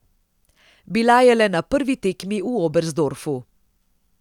Bila je le na prvi tekmi v Oberstdorfu.